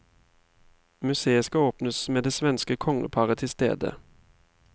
Museet skal åpnes med det svenske kongeparet til stede.